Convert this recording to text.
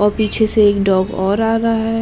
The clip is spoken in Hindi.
और पीछे से एक डॉग और आ रहा है।